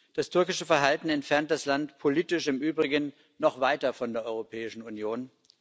Das türkische Verhalten entfernt das Land politisch im Übrigen noch weiter von der Europäischen Union.